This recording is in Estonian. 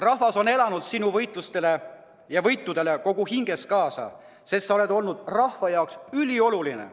Rahvas on elanud sinu võitlustele ja võitudele kogu hingest kaasa, sest sa oled olnud rahva jaoks ülioluline.